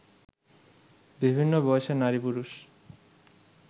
বিভিন্ন বয়সের নারী-পুরুষ